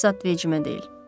Ayıb zad vecimə deyil.